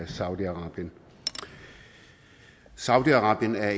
saudi arabien saudi arabien er